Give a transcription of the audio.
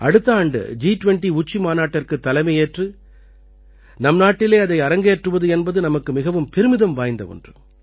அடுத்த ஆண்டு ஜி20 உச்சி மாநாட்டிற்குத் தலைமையேற்று நம் நாட்டிலே அதை அரங்கேற்றுவது என்பது நமக்கு மிகவும் பெருமிதம் வாய்ந்த ஒன்று